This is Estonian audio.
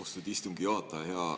Austatud istungi juhataja!